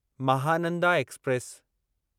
Mahananda express